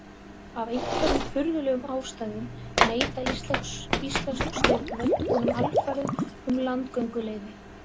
Af einhverjum furðulegum ástæðum neita íslensk stjórnvöld honum alfarið um landgönguleyfi.